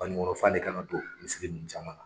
Banikɔnɔɔ fan de kan ka don misiri ninnu caman na.